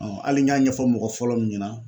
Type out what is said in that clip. hali n y'a ɲɛfɔ mɔgɔ fɔlɔ min ɲɛna